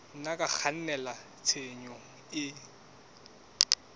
nna tsa kgannela tshenyong e